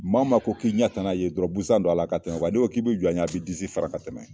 Maa o maa ko k'i ɲɛtana ye dɔrɔn busan don a la ka tɛmɛ n'i ko k'i bɛ jɔ a ɲɛ a b'i disi fara ka tɛmɛ.